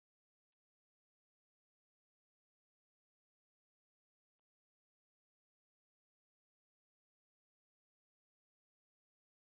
Hún var ekki farin að sýna nein viðbrögð umfram undrunina.